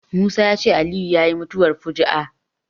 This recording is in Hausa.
Musa ya ce Aliyu yayi mutuwar fuju'a